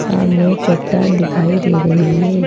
सामने एक चट्टान दिखाई दे रही है।